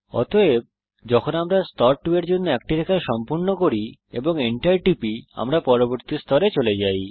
অতএব যখন আমরা স্তর 2 এর একটি রেখা সম্পূর্ণ করি এবং Enter টিপি আমরা পরবর্তী স্তরে চলে যাই